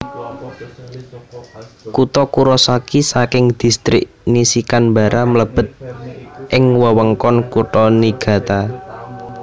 Kutha Kurosaki saking Distrik Nishikanbara mlebet ing wewengkon Kutha Niigata